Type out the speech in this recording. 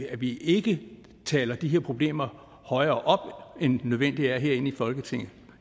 at vi ikke taler de her problemer højere op end nødvendigt er herinde i folketinget